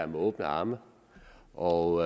med åbne arme og